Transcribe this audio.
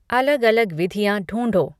अलग अलग विधियाँ ढूँढो